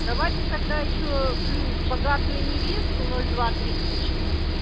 давайте тогда ещё плюс богатую невесту ноль два тридцать четыре